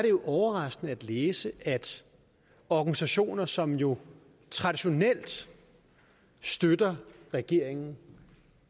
er overraskende at læse at organisationer som jo traditionelt støtter regeringen